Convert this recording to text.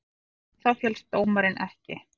Á það féllst dómari ekki.